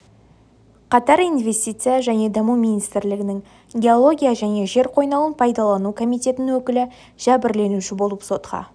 қатар инвестиция және даму министрлігінің геология және жер қойнауын пайдалану комитетінің өкілі жәбірленуші болып сотқа